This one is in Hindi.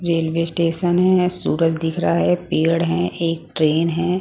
रेलवे स्टेशन है सूरज दिख रहा है पेड़ है एक ट्रेन हैं।